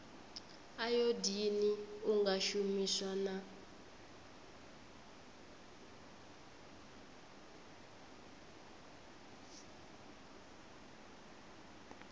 ayodini u nga shumiswa na